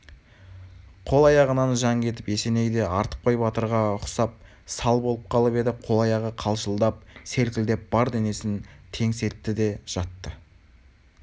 қол-аяғынан жан кетіп есеней де артықбай батырға ұсап сал болып қалып еді қол-аяғы қалшылдап селкілдеп бар денесін теңселтті де жатты